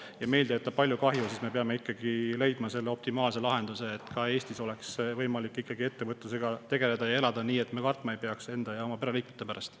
Kui meil ta teeb palju kahju, siis me peame ikkagi leidma optimaalse lahenduse, et Eestis oleks võimalik ettevõtlusega tegeleda ja elada nii, et me ei peaks kartma enda ja oma pereliikmete pärast.